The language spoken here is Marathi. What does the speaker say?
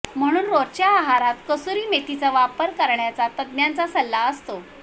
म्हणून रोजच्या आहारात कसुरी मेथीचा वापर करण्याचा तज्ज्ञांचा सल्ला असतो